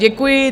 Děkuji.